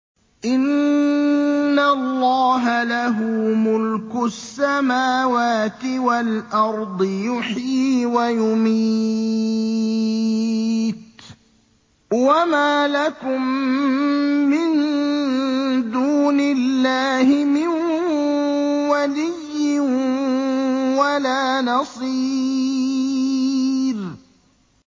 إِنَّ اللَّهَ لَهُ مُلْكُ السَّمَاوَاتِ وَالْأَرْضِ ۖ يُحْيِي وَيُمِيتُ ۚ وَمَا لَكُم مِّن دُونِ اللَّهِ مِن وَلِيٍّ وَلَا نَصِيرٍ